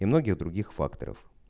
и многих других факторов